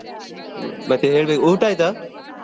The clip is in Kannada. ಮತ್ತೆ ಹೇಳ್ಬೇಕು ಊಟ ಆಯ್ತಾ?